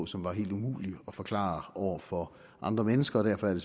som var helt umulig at forklare over for andre mennesker og derfor er det